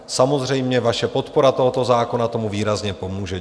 Samozřejmě,. vaše podpora tohoto zákona tomu výrazně pomůže.